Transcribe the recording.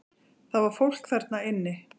Það var fólk þarna inni!